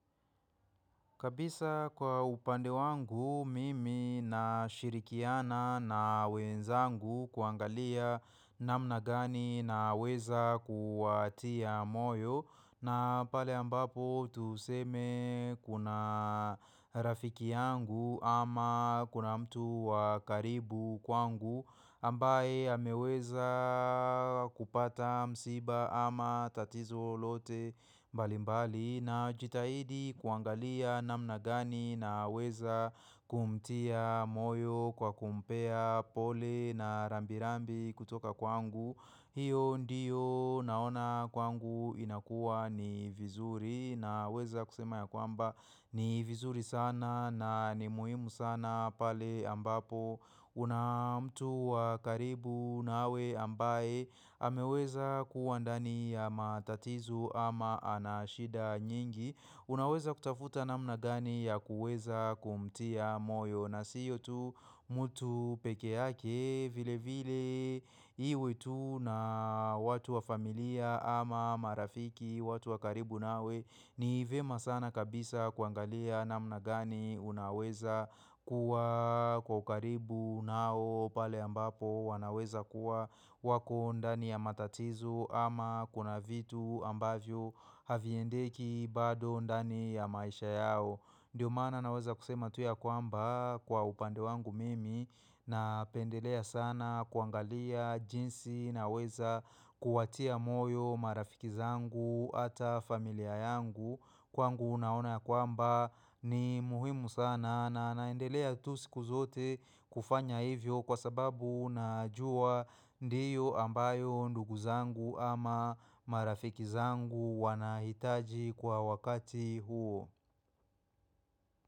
Kabisa kwa upande wangu mimi nashirikiana na wenzangu kuangalia namna gani naweza kuwatia moyo na pale ambapo tuseme kuna rafiki yangu ama kuna mtu wa karibu kwangu ambaye ameweza kupata msiba ama tatizo lote mbali mbali. Najitahidi kuangalia namna gani naweza kumtia moyo kwa kumpea pole na rambi rambi kutoka kwangu. Hiyo ndiyo naona kwangu inakuwa ni vizuri naweza kusema ya kwamba ni vizuri sana na ni muhimu sana pale ambapo kuna mtu wa karibu nawe ambaye ameweza kuwa ndani ya matatizo ama ana shida Unaweza kutafuta namna gani ya kuweza kumtia moyo na sio tu mtu peke yake vile vile iwe tu na watu wa familia ama marafiki watu wa karibu nawe ni vyema sana kabisa kuangalia namna gani unaweza kuwa kwa ukaribu nao pale ambapo wanaweza kuwa wako ndani ya matatizo ama kuna vitu ambavyo haviendeki bado ndani ya maisha yao. Ndiyo maana naweza kusema tu ya kwamba kwa upande wangu mimi Napendelea sana kuangalia jinsi naweza kuwatia moyo marafiki zangu hata familia yangu Kwangu naona ya kwamba ni muhimu sana na naendelea tu siku zote kufanya hivyo kwa sababu najua ndiyo ambayo ndugu zangu ama marafiki zangu wanahitaji kwa wakati huo.